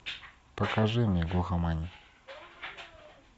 покажи мне глухомань